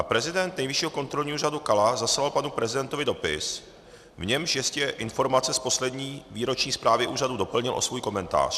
A prezident Nejvyššího kontrolního úřadu Kala zaslal panu prezidentovi dopis, v němž ještě informace z poslední výroční zprávy úřadu doplnil o svůj komentář.